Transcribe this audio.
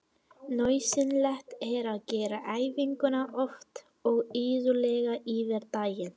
Nauðsynlegt er að gera æfinguna oft og iðulega yfir daginn.